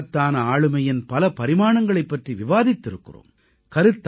அந்த மகத்தான ஆளுமையின் பல பரிமாணங்களைப் பற்றி விவாதித்திருக்கிறோம்